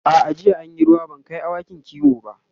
a'a jiya an Yi ruwa ban Kai awakin kiwo ba